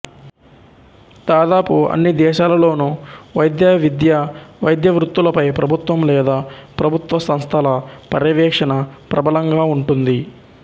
దాదాపు అన్ని దేశాలలోను వైద్య విద్య వైద్యవృత్తులపై ప్రభుత్వం లేదా ప్రభుత్వ సంస్థల పర్యవేక్షణ ప్రబలంగా ఉంటుంది